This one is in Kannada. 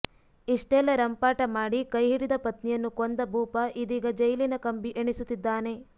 ಇಷ್ಟೆಲ್ಲಾ ರಂಪಾಟ ಮಾಡಿ ಕೈಹಿಡಿದ ಪತ್ನಿಯನ್ನು ಕೊಂದ ಭೂಪ ಇದೀಗ ಜೈಲಿನ ಕಂಬಿ ಎಣಿಸುತ್ತಿದ್ದಾನೆ